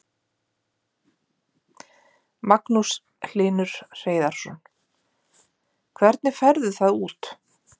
Magnús Hlynur Hreiðarsson: Hvernig færðu það út?